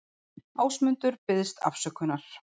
Ásmundur biðst afsökunar